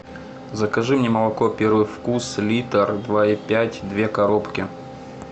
закажи мне молоко первый вкус литр два и пять две коробки